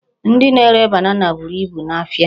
Ndị na-ere banana buru ibu n'ahịa.